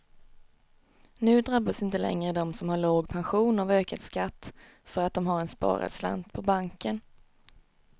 Nu drabbas inte längre de som har låg pension av ökad skatt för att de har en sparad slant på banken.